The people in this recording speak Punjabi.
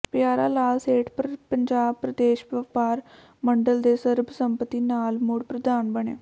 ਪਿਆਰਾ ਲਾਲ ਸੇਠ ਪੰਜਾਬ ਪ੍ਰਦੇਸ਼ ਵਪਾਰ ਮੰਡਲ ਦੇ ਸਰਬਸੰਮਤੀ ਨਾਲ ਮੁੜ ਪ੍ਰਧਾਨ ਬਣੇ